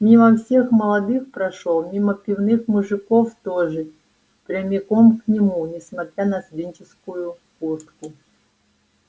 мимо всех молодых прошёл мимо пивных мужиков тоже прямиком к нему несмотря на студенческую куртку